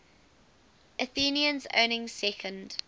athenians owning second